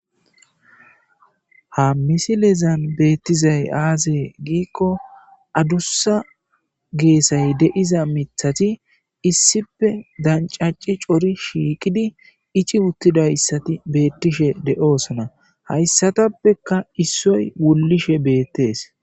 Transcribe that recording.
ha misilezan beettizay aazee giikko addussa geesay deiza mithati issife dancacci cori shiiqidi ici uttidayssati beettishe de7oosona hayssatappekka issoy wullishe beettees